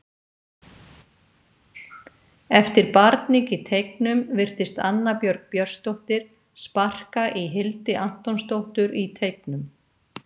Eftir barning í teignum virtist Anna Björg Björnsdóttir sparka í Hildi Antonsdóttur í teignum.